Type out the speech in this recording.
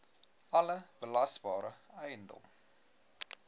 alle belasbare eiendom